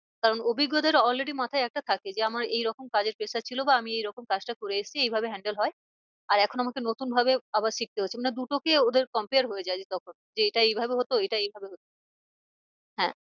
কারণ অভিজ্ঞদের already মাথায় একটা থাকে যে আমায় এরকম কাজের pressure ছিল বা আমি এই রকম কাজটা করে এসছি এই ভাবে handle হয় আর এখন আমাকে নতুন ভাবে আবার শিখতে হচ্ছে মানে দু টো কে ওদের compare হয়ে যায় যে তখন যে এইটা এই ভাবে হতো এইটা এই ভাবে হতো হ্যাঁ